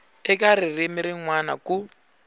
eka ririmi rin wana ku